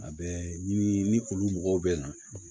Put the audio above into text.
A bɛ ni olu mɔgɔw bɛ na